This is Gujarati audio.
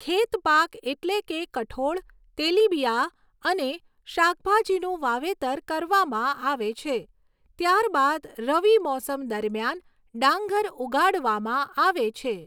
ખેત પાક એટલે કે કઠોળ, તેલીબિયાં અને શાકભાજીનું વાવેતર કરવામાં આવે છે, ત્યારબાદ રવિ મોસમ દરમિયાન ડાંગર ઉગાડવામાં આવે છે.